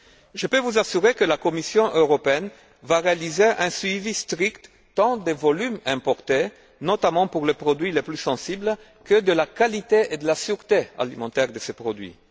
Je peux vous assurer que la Commission européenne va réaliser un suivi strict tant des volumes importés, notamment pour les produits les plus sensibles, que de la qualité et de la sûreté alimentaire de ces produits.